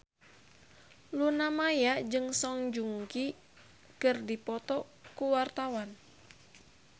Luna Maya jeung Song Joong Ki keur dipoto ku wartawan